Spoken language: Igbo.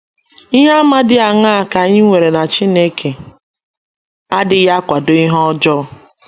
Ihe àmà dị aṅaa ka anyị nwere na Chineke adịghị akwado ihe ọjọọ?